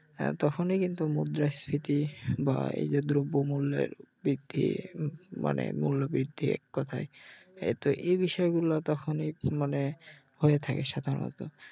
তখনি কিন্তু মুদ্রাস্ফীতি বা এই যে দ্রব্য মূল্যের বৃদ্ধি মানে মুল্য বৃদ্ধি এককথায় এর তো এই বিষয় গুলা তখনই মানে হয়ে থাকে সাধারনত